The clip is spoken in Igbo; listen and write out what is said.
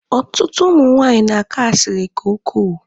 Ọtụtụ ụmụ nwaanyị na-akọ asiri nke ukwuu.